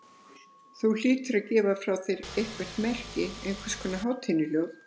Þú hlýtur að gefa frá þér einhver merki, einhvers konar hátíðnihljóð.